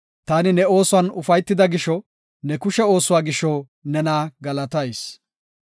Taani ne oosuwan ufaytida gisho, ne kushe oosuwa gisho nena galatayis.